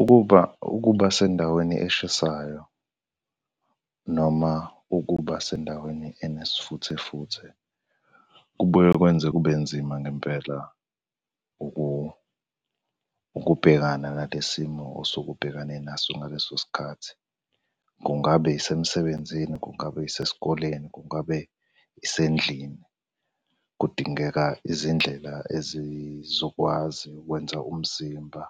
Ukuba ukuba sendaweni eshisayo noma ukuba sendaweni enesifuthe futhe kubuye kwenze kube nzima ngempela ukubhekana nale simo osuke ubhekene naso ngaleso sikhathi. Kungabe yisemsebenzini, kungabe yisesikoleni, kungabe yisendlini. Kudingeka izindlela ezizokwazi ukwenza umzimba